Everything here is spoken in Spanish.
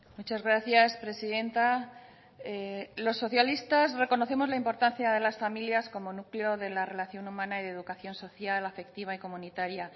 muchas gracias presidenta los socialistas reconocemos la importancia de las familias como núcleo de la relación humana y de educación social afectiva y comunitaria